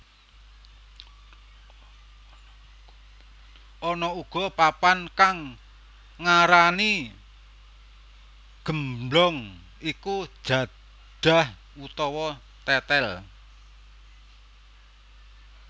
Ana uga papan kang ngarani gemblong iku jadah utawa tetel